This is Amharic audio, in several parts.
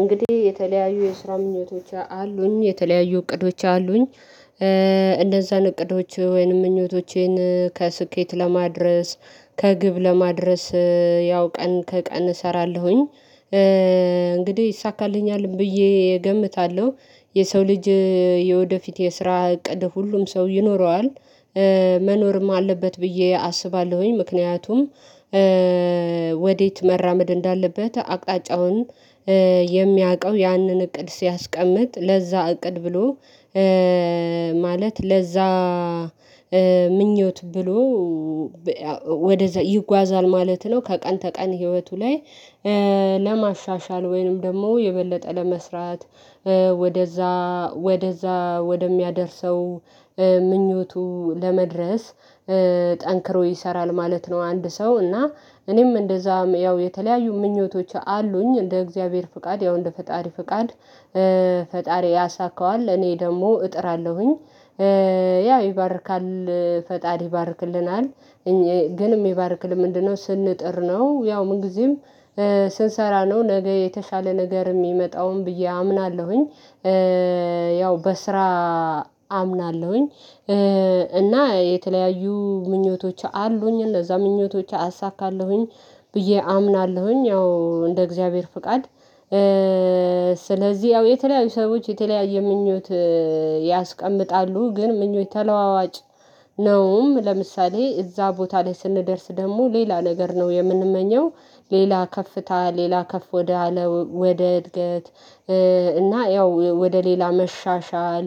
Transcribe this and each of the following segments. እንግዲህ የተለያዩ የስራ ምኞቶች አሉኝ የተለያዩ እቅዶች አሉኝ። እንደዛ እቅዶች ወይንም ምኞቶቼን ከስኬት ለማድረስ ከግብ ለማድረስ ያው ቀን ከቀን እሰራለሁኝ። እንግዲህ ይይሳካልኛል ብዬ እገምታለሁ። የሰው ልጅ የወደፊት የስራ እቅድ ሁሉም ሰው ይኖረዋል መኖርም አለበት ብዬ አስባለሁኝ። ምክንያቱም ወዴት መራመድ እንዳለበት አቅጣጫውን የሚያውቀው ያንን እቅድ ሲያስቀምጥ ለዛ እቅድ ብሎ ማለት ለዛ ምኞት ብሎ ወደዛ ይጓዛል ማለት ነው። ከቀን ተቀን ህይወቱ ላይ ለማሻሻል ወይንም ደግሞ የበለጠ ለመስራት ወደዛ ወደዛ ወደሚያደርሰው ምኞቱ ለመድረስ ጠንክሮ ይሰራል ማለት ነው። አንድ ሰው እና እኔም እንደዛም ያው የተለያዩ ምኞቶች አሉኝ እንደ እግዚአብሔር ፍቃድ ያው እንደ ፈጣሪ ፍቃድ ፈጣሪ ያሳካዋል እኔ ደግሞ እጥራለሁኝ። ያው ይባርካል ፈጣሪ ይባርክልናል። ግን የሚባርክልህ ምንድነው ስንጥር ነው። ያው ጊዜም ስንሰራ ነው ነገ የተሻለ ነገር የሚመጣውን ብዬ አምናለሁኝ። ያው በስራ አምናለሁኝ። እና የተለያዩ ምኞቶች አሉኝ እነዛ ምኞቶች አሳካለሁኝ ብዬ አምናለሁኝ ያው እንደ እግዚአብሔር ፈቃድ። ስለዚህ ያው የተለያዩ ሰዎች የተለያየ ምኞት ያስቀምጣሉ ግን ምኞች ተለዋዋጭ ነውም ለምሳሌ እዛ ቦታ ላይ ስንደርስ ደግሞ ሌላ ነገር ነው የምንመኘው። ሌላ ከፍታ ሌላ ከፍ ወደ አለው ወደ እድገት። እና ያው ወደ ሌላ መሻሻል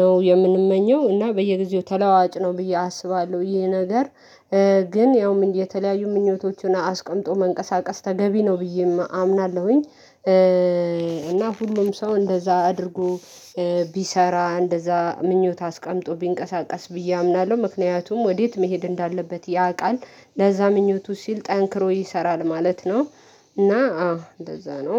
ነው የምንመኘው። እና በየጊዜው ተለዋጭ ነው ብዬ አስባለሁ ይሄ ነገር። ግን ያውም የተለያዩ ምኞቶችን አስቀምጦ መንቀሳቀስ ተገቢ ነው ብዬ አምናለሁኝ። እና ሁሉም ሰው እንደዛ አድርጎ ቢሰራ እንደዛ ምኞት አስቀምጦ ቢንቀሳቀስ ብዬ አምናለሁ ምክንያቱም ወዴት መሄድ እንዳለበት ያውቃል ለዛ ምኞቱ ሲል ጠንክሮ ይሰራል ማለት ነው። እና አዎ እንደዛ ነው